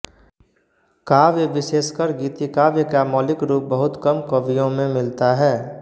काव्य विशेषकर गीतिकाव्य का मौलिक रूप बहुत कम कवियों में मिलता है